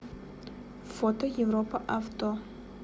фото европа авто